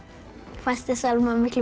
fannst þér Selma miklu